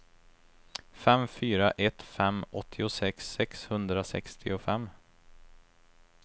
fem fyra ett fem åttiosex sexhundrasextiofem